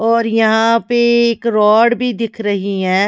और यहां पे एक रॉड भी दिख रही है।